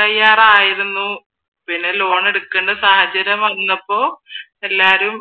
തയ്യാറായിരുന്നു പിന്നെ ലോൺ എടുക്കണ്ട സാഹചര്യം വന്നപ്പോ എല്ലാരും